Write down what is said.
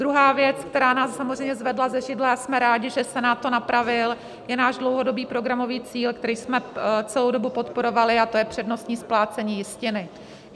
Druhá věc, která nás samozřejmě zvedla ze židle, a jsme rádi, že Senát to napravil, je náš dlouhodobý programový cíl, který jsme celou dobu podporovali, a to je přednostní splácení jistiny.